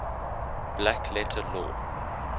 black letter law